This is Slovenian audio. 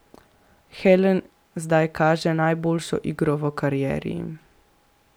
Helen zdaj kaže najboljšo igro v karieri.